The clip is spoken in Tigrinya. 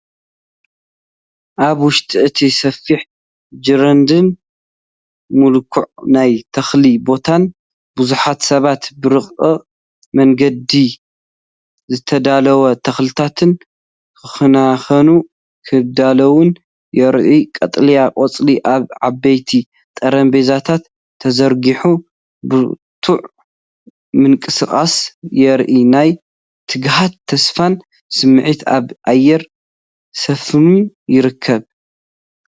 ኣብ ውሽጢ እቲ ሰፊሕ ጀርዲንን ሙልኩዕ ናይ ተኽሊ ቦታን ብዙሓት ሰባት ብረቂቕ መንገዲ ዝተዳለዉ ተኽልታት ክከናኸኑን ከዳልዉን ይረኣዩ። ቀጠልያ ቆጽሊ ኣብ ዓበይቲ ጠረጴዛታት ተዘርጊሑ፣ ብርቱዕ ምንቅስቓስ የርኢ፤ ናይ ትግሃትን ተስፋን ስምዒት ኣብ ኣየር ሰፊኑ ይርከብ።